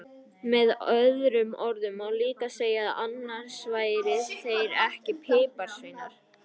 Með öðrum orðum má líka segja að annars væru þeir ekki piparsveinar!